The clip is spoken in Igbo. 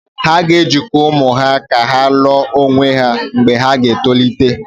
A ga-ejikọ ụmụ ha ka ha wee lụọ onwe ha mgbe ha ga-etolite